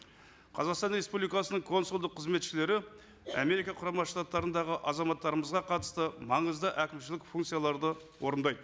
қазақстан республикасының консулдық қызметшілері америка құрама штаттарындағы азаматтарымызға қатысты маңызды әкімшілік функцияларды орындайды